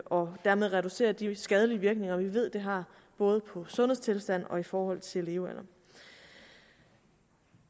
og dermed reducere de skadelige virkninger vi ved det har både for sundhedstilstanden og i forhold til levealderen